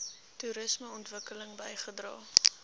toerisme ontwikkeling bygedra